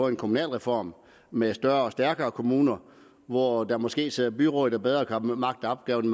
en kommunalreform med større og stærkere kommuner hvor der måske sidder byråd der bedre kan magte opgaven